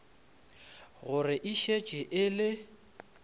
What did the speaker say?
gore e šetše e le